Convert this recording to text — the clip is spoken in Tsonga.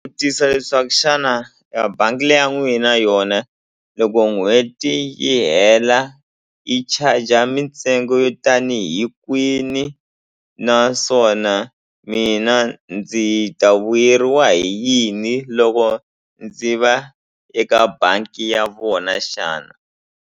Vutisa leswaku xana a bangi le ya n'wina yona loko n'hweti yi hela yi charger mintsengo yo tanihi kwini naswona mina ndzi ta vuyeriwa hi yini loko ndzi va eka bangi ya vona xana.